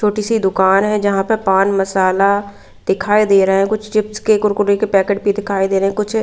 छोटी सी दुकान है जहां पे पान मसाला दिखाई दे रहे हैं कुछ चिप्स के कुरकुरे के पैकेट भी दिखाई दे रहे हैं कुछ--